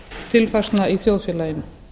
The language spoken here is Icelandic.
tekjutilfærslna í þjóðfélaginu